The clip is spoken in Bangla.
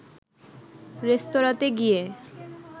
রেস্তোরাতে গিয়ে